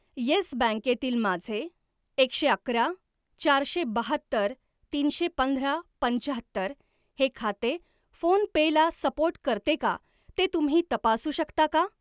Yes बँके तील माझे एकशे अकरा चारशे बाहत्तर तीनशे पंधरा पंच्याहत्तर हे खाते फोनपे ला सपोर्ट करते का ते तुम्ही तपासू शकता का?